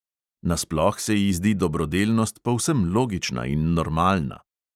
Nasploh se ji zdi dobrodelnost povsem logična in normalna.